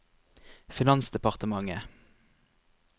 finansdepartementet